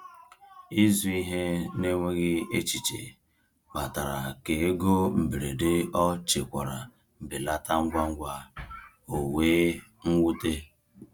Ịzụ ihe n’enweghị echiche kpatara ka ego mberede ọ chekwara belata ngwa ngwa, o wee nwute.